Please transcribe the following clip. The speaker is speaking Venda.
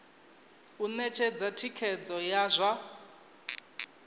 u ṅetshedza thikhedzo ya zwa